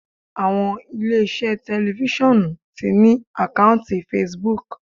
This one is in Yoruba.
Àwọn ilé iṣẹ́ tẹlifisiọnu ti ní àkọ́ùntì Facebook.